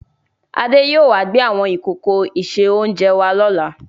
Adé yìí ó wà gbé àwọn ìkòkò ìse-oúnjẹ wá lọ́la.